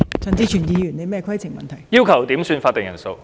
陳志全議員要求點算法定人數。